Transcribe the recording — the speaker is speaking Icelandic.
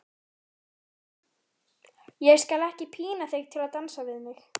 Ég skal ekki pína þig til að dansa við mig.